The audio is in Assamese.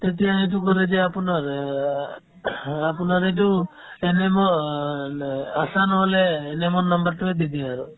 তেতিয়া সেইটো ভৰাই দিয়ে আপোনাৰ অ আপোনাৰ এইটো ANM ৰ লে আশা নহ'লে ANM ৰ number তোয়ে দি দিয়ে আৰু